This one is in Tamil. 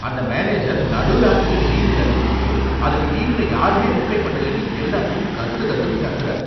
அந்த மேனேஜர் நடு ராத்திரில ஈமெயில் அனுப்பிட்டு அதுக்கு டீம்ல யாருமே ரிப்ளை பண்ணலேன்னு எல்லார்டையும் கத்து கத்துனு கத்துறாரு!